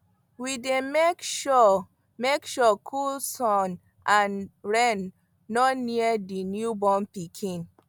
we dy make sure make sure cold sun and rain no near the new born pikin